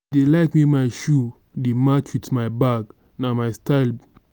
i dey like make my shoe dey match wit my bag na my style.